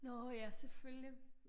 Nåh ja selvfølgelig